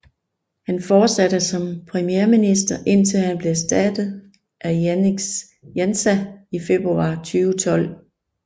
Han fortsatte som premierminister indtil han blev erstattet af Janez Janša i februar 2012